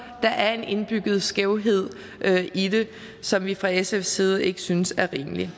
er en indbygget skævhed i det som vi fra sfs side ikke synes er rimelig